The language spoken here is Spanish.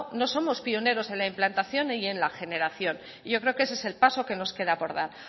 no somos pionero en la implantación y en la generación y yo creo que ese es el paso que nos queda por dar